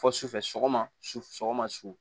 Fɔ sufɛ sɔgɔma su sɔgɔma su